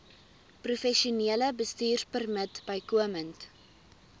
professionele bestuurpermit bykomend